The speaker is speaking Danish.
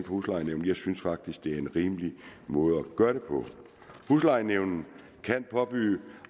huslejenævnet jeg synes faktisk det er en rimelig måde at gøre det på huslejenævnet kan påbyde